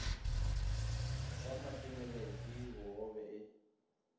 sa matebele ke bogobe e